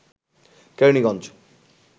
Keraniganj